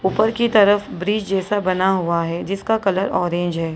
ऊपर की तरफ ब्रिज जैसा बना हुआ है जिसका कलर ऑरेंज है।